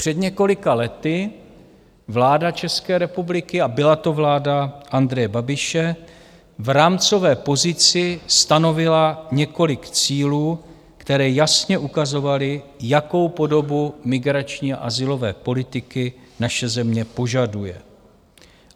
Před několika lety vláda České republiky, a byla to vláda Andreje Babiše, v rámcové pozici stanovila několik cílů, které jasně ukazovaly, jakou podobu migrační a azylové politiky naše země požaduje.